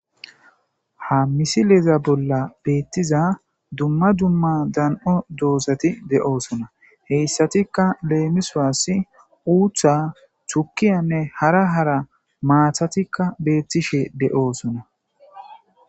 ha misileza bolla beettiza dumma dumma dan7o doosati de7oosona heyssatikka leemiswaasi uutha chukiyanne hara hara maathatikka beettishe de7oosona